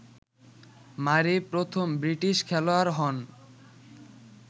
মারি প্রথম ব্রিটিশ খেলোয়াড় হন